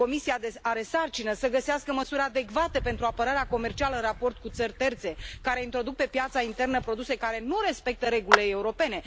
Comisia are sarcina să găsească măsuri adecvate pentru apărarea comercială în raport cu țări terțe care introduc pe piața internă produse care nu respectă regulile europene.